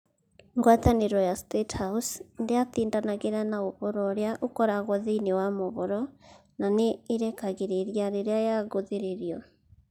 Ngwatanĩro ya State House ndĩatindanagĩra na ũhoro ũrĩa ũkoragwo thĩinĩ wa mohoro na nĩ ĩrekagĩrĩria rĩrĩa yagũthĩrĩrio.